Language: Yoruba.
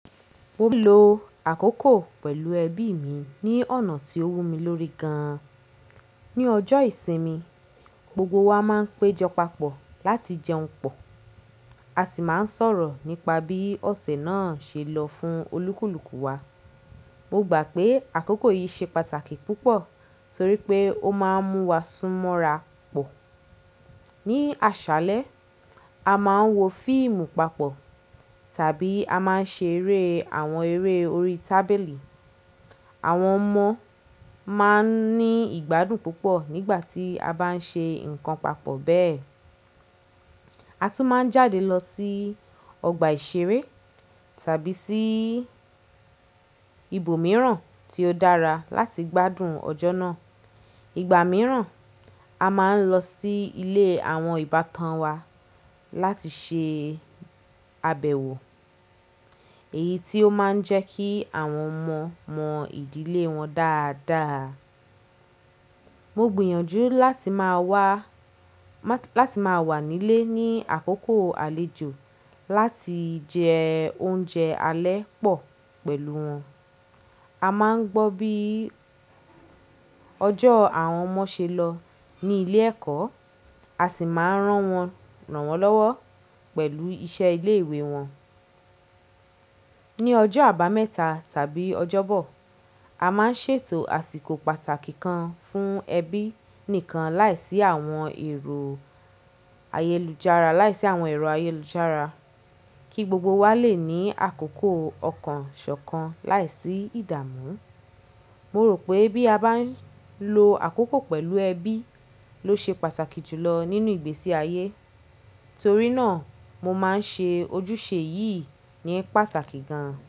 Mo ń ló àkókò pẹ̀lú ẹbí mi ní ọ̀nà tí ó wù mí lórí gan-an. Ni ọjọ́ ìsinmi, gbogbo wa máa ń péjọ papọ̀ láti jẹun pọ̀, a sì máa ń sọ̀rọ̀ nípa bí ọ̀sẹ̀ náà ṣe lọ fún olúkúlùkù wa. Mo gbà pé àkókò yìí ṣe pàtàkì púpọ̀ torí pé ó máa ń mú wa sún mọ́ra pọ̀. Ni àṣálẹ́, a máa ń wo fíìmù papọ̀ tàbí a máa ń ṣe eré àwọn eré orí tábìlì. Àwọn ọmọ máa ń ní ìgbádùn púpọ̀ nígbà tí a bá ń ṣe nǹkan papọ̀ bẹ́ẹ̀. A tún máa ń jáde lọ sí ọgbà ìṣeré tàbí sí ibòmíràn tí ó dára láti gbádùn ọjọ́ náà. Ìgbà mìíràn, a máa ń lọ sí ilé àwọn ìbátan wa láti ṣe àbẹ̀wò èyí tí ó máa ń jẹ́ kí àwọn ọmọ mọ ìdílé wọn dáadáa. Mo gbìyànjú láti máa wá, láti máa wà nílé ní àkókò àlejò láti jẹ oúnjẹ alẹ́ pọ̀ pẹ̀lú wọn. A máa ń gbọ́ bí ọjọ́ àwọn ọmọ ṣe lọ ní ilé ẹ̀kọ́, a sì máa ń rán wọn, rànwọ́ lọ́wọ́ pẹ̀lú iṣẹ́ ilé ìwé wọn. Ni ọjọ́ àbámẹ́ta tàbí ọjọ́bọ̀, a máa ń ṣètò àsìkò pàtàkì kan fún ẹbí nìkan láìsí àwọn èrò ayélujára, láìsí àwọn ẹ̀ro ayélujára kí gbogbo wa lè ní àkókò ọ̀kàn ṣọ̀kan láìsí ìdààmú. Mo rò pé bí a bá ń lo àkókò pẹ̀lú ẹbí ló ṣe pàtàkì jù lọ nínú ìgbésí ayé. Torí náà, mo máa ń ṣe ojúṣe yìí ní pàtàkì gan-an.